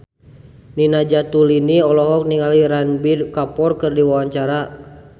Nina Zatulini olohok ningali Ranbir Kapoor keur diwawancara